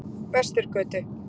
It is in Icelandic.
Vesturgötu